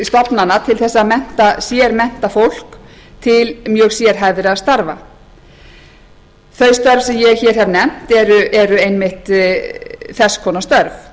stofnana til að sérmennta fólk til mjög sérhæfðra starfa þau störf sem ég hef nefnt eru einmitt þess konar störf